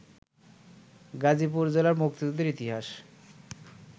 গাজীপুর জেলার মুক্তিযুদ্ধের ইতিহাস